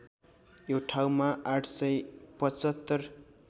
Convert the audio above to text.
यो ठाउँमा ८७५